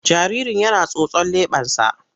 Jaririn yana tsotson leɓensa.